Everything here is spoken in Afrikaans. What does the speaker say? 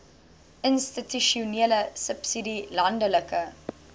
institusionele subsidie landelike